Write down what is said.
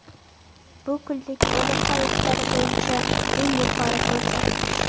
Bu kunlik o‘lim holatlari bo‘yicha eng yuqori ko‘rsatkich.